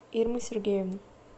ирмы сергеевны